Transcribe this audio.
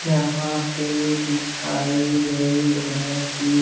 यहाँ पे दिखाए गये है की --